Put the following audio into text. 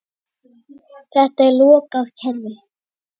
Þetta er lokað kerfi.